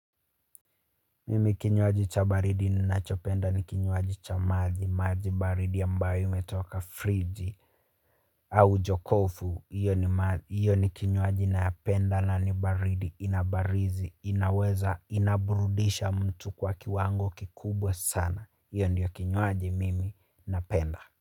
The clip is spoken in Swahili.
Mimi kinywaji cha baridi ninachopenda ni kinywaji cha maji, maji baridi ambayo imetoka friji au jokofu, iyo ni kinywaji napenda na ni baridi inabarizi, inaweza inaburudisha mtu kwa kiwango kikubwa sana, iyo ndiyo kinywaji mimi napenda.